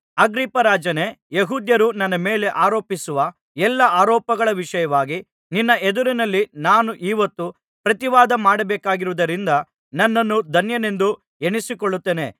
ಅಗ್ರಿಪ್ಪರಾಜನೇ ಯೆಹೂದ್ಯರು ನನ್ನ ಮೇಲೆ ಆರೋಪಿಸುವ ಎಲ್ಲಾ ಆರೋಪಗಳ ವಿಷಯವಾಗಿ ನಿನ್ನ ಎದುರಿನಲ್ಲಿ ನಾನು ಈಹೊತ್ತು ಪ್ರತಿವಾದ ಮಾಡಬೇಕಾಗಿರುವುದರಿಂದ ನನ್ನನ್ನು ಧನ್ಯನೆಂದು ಎಣಿಸಿಕೊಳ್ಳುತ್ತೇನೆ